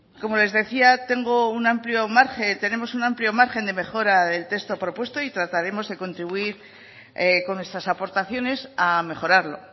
como les decía tengo un amplio margen tenemos un amplio margen de mejora del texto propuesto y trataremos de contribuir con nuestras aportaciones a mejorarlo